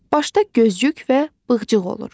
Başda gözyük və bığcıq olur.